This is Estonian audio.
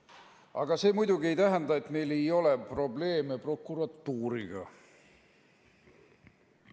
Aga see muidugi ei tähenda, et meil ei ole probleeme prokuratuuriga.